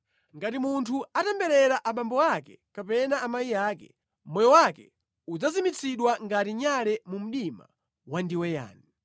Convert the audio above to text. Ngati munthu atemberera abambo ake kapena amayi ake, moyo wake udzazimitsidwa ngati nyale mu mdima wandiweyani.